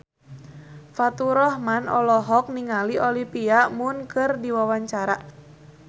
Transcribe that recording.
Faturrahman olohok ningali Olivia Munn keur diwawancara